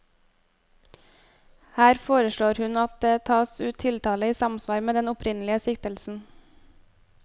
Her foreslår hun at det tas ut tiltale i samsvar med den opprinnelige siktelsen.